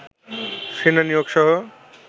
সেনা নিয়োগ সহ